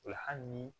O la hali ni